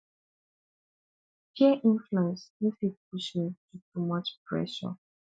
peer influence no fit push me too much pressure